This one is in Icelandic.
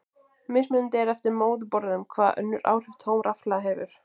Mismunandi er eftir móðurborðum hvaða önnur áhrif tóm rafhlaða hefur.